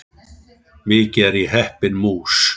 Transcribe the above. Mikið er ég heppin mús!